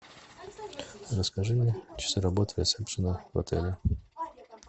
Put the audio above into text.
расскажи мне часы работы ресепшена в отеле